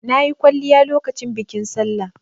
Na yi kwalliya lokacin bikin Sallah.